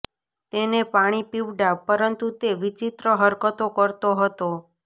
તેને પાણી પીવડાવ પરંતુ તે વિચિત્ર હરકતો કરતો હતો